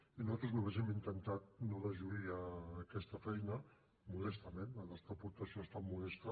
i nosaltres només hem intentat no deslluir aquesta feina modestament la nostra aportació ha estat modesta